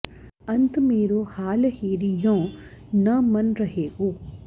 अंत मेरो हाल हेरि यौं न मन रहैगो